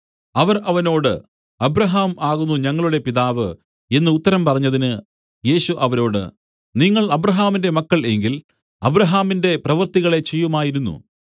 അവർ അവനോട് അബ്രാഹാം ആകുന്നു ഞങ്ങളുടെ പിതാവ് എന്നു ഉത്തരം പറഞ്ഞതിന് യേശു അവരോട് നിങ്ങൾ അബ്രാഹാമിന്റെ മക്കൾ എങ്കിൽ അബ്രാഹാമിന്റെ പ്രവൃത്തികളെ ചെയ്യുമായിരുന്നു